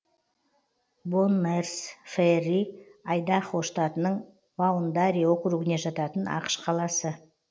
боннэрс фэрри айдахо штатының баундари округіне жататын ақш қаласы